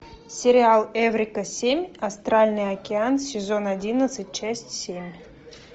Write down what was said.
сериал эврика семь астральный океан сезон одиннадцать часть семь